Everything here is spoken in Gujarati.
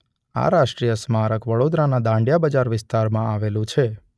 આ રાષ્ટ્રીય સ્મારક વડોદરાના દાંડિયા બજાર વિસ્તારમાં આવેલું છે.